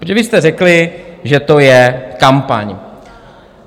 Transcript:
Protože vy jste řekli, že to je kampaň.